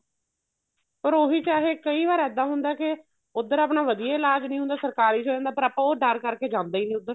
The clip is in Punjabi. ਪਰ ਉਹੀ ਚਾਹੇ ਕਈ ਵਾਰ ਇੱਦਾਂ ਹੁੰਦਾ ਕੇ ਉੱਧਰ ਆਪਣਾ ਵਧੀਆ ਇਲਾਜ ਨਹੀਂ ਹੁੰਦਾ ਸਰਕਾਰੀ ਚ ਹੋ ਜਾਂਦਾ ਪਰ ਆਪਾਂ ਉਹ ਡਰ ਕਰਕੇ ਜਾਂਦੇ ਈ ਨਹੀਂ ਉੱਧਰ